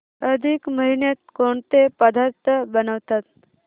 अधिक महिन्यात कोणते पदार्थ बनवतात